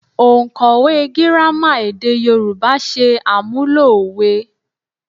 Òǹkọ̀wẹ́ Gírámà èdè Yorùbá ṣe àmúlò òwe